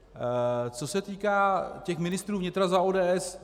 Co se týká těch ministrů vnitra za ODS.